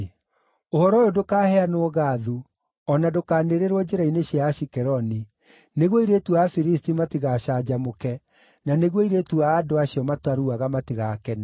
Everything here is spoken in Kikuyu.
“Ũhoro ũyũ ndũkaheanwo Gathu, o na ndũkanĩrĩrwo njĩra-inĩ cia Ashikeloni, nĩguo airĩtu a Afilisti matigacanjamũke, na nĩguo airĩtu a andũ acio mataruaga matigakene.